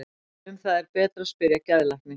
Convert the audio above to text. Um það er betra að spyrja geðlækni.